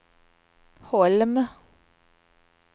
Holm